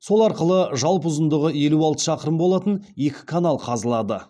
сол арқылы жалпы ұзындығы елу алты шақырым болатын екі канал қазылады